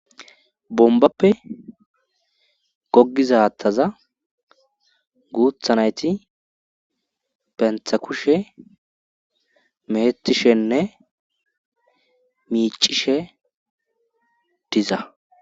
bombappe goggiza hattaza guutha nayti bentha kushe meettishenne miicishe diza